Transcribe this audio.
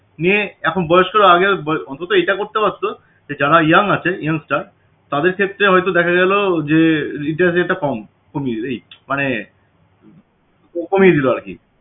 দিয়ে এখন বয়স্করা আগে অন্তত এটা করতে পারত যে যারা young আছে young সরা তাদের ক্ষেত্রে হয়তো দেখা গেল যে interest rate টা কম কমিয়ে rate মানে কমিয়ে দিল আরকি